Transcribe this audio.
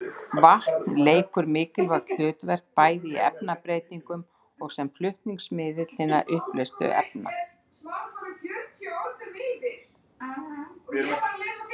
Vatn leikur mikilvægt hlutverk bæði í efnabreytingunum og sem flutningsmiðill hinna uppleystu efna.